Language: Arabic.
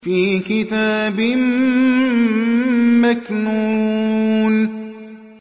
فِي كِتَابٍ مَّكْنُونٍ